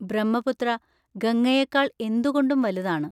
ബ്രഹ്മപുത്ര ഗംഗയേക്കാൾ എന്തുകൊണ്ടും വലുതാണ്.